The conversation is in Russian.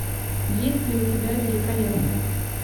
есть ли у тебя великолепная